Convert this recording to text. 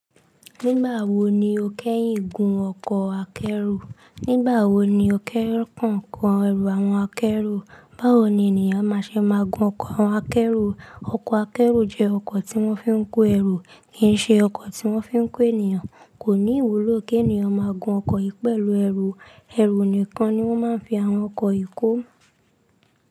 Nígbà wo ni ó kẹ́yìn gun ọkọ̀ akẹ́rù? Nígbà wo ni ó kẹ́rù kàn ń kan ẹrù àwọn akẹ́rù? Báwo ni ènìyàn má ṣe máa gun ọkọ̀ akẹ́rù? Ọkọ̀ akẹ́rù jẹ́ ọkọ̀ tí wọ́n fi ń kó ẹrù kì í ṣe ọkọ̀ tí wọ́n fi ń kó ènìyàn. Kò ní ìwúlò kí ènìyàn máa gun ọkọ̀ yìí pẹ̀lú ẹrù. Ẹ̀rù nìkan ni wọ́n máa ń fi àwọn ọkọ̀ yìí kó.